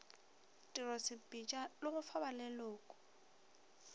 tirosepitša le go fa baleloko